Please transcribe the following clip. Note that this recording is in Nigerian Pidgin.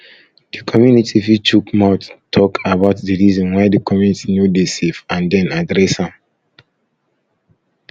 di community fit chook mouth talk about di reason why di community no dey safe and then address am